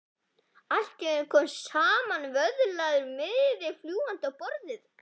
Allt í einu kom samanvöðlaður miði fljúgandi á borðið hans.